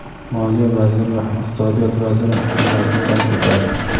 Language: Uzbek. Moliya vaziri va Iqtisodiyot vaziri Hukumatni tark etadi.